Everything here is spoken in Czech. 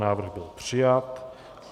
Návrh byl přijat.